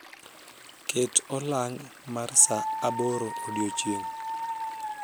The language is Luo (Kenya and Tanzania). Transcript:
ket olong mar saa aboro odiochieng